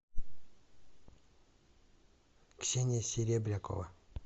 ксения серебрякова